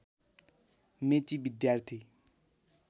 मेची विद्यार्थी